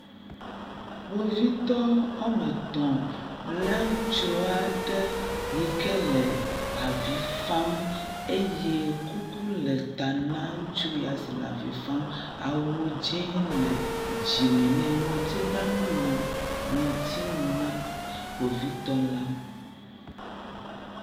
Kpovitɔ woame etɔ̃ lé ŋutsu aɖe yi ke le avi fam eye kuku le ta na ŋutsu ya si le avi fam, awu dzɛ̃ le dzime nɛ ŋɔti blanu le ŋɔti nu na kpovitɔ la.